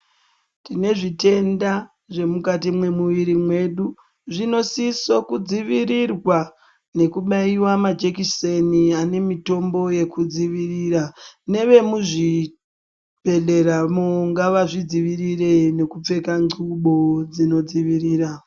Tine zvitenda zvemukati memuviri medu zvinosiso kudzivirirwa nekubaiwa majekiseni anemitombo yekudzivirira nevemuzvibhedhleramo ngavazvidzivirire nekupfeka thlubu dzinodzivirira.